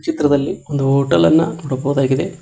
ಚಿತ್ರದಲ್ಲಿ ಒಂದು ಹೋಟೆಲ್ ಅನ್ನ ನೋಡಬಹುದಾಗಿದೆ.